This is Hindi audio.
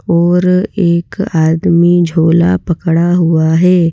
और एक आदमी झोला पकड़ा हुआ हैं।